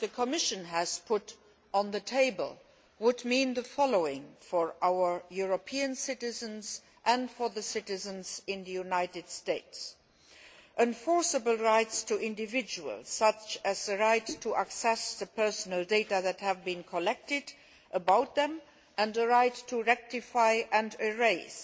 What the Commission has put on the table would mean the following for our European citizens and for the citizens in the United States enforceable rights for individuals, such as the right to access personal data that has been collected about them and the right to rectify and erase